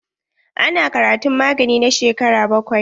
Ana karatun magani na shekara bakwai.